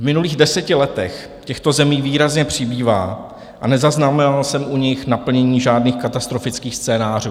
V minulých deseti letech těchto zemí výrazně přibývá a nezaznamenal jsem u nich naplnění žádných katastrofických scénářů.